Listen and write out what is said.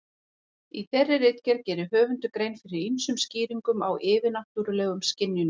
Í þeirri ritgerð gerir höfundur grein fyrir ýmsum skýringum á yfirnáttúrulegum skynjunum.